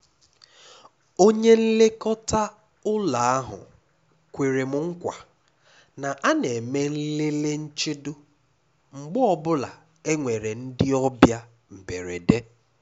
Onye nlekọta ụ́lọ́ ahụ kwere m nkwa na a na-eme nlele nchedo mgbe ọ bụla e nwere ndị ọbịa mberede.